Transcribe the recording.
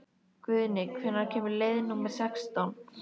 Guðni, hvenær kemur leið númer sextán?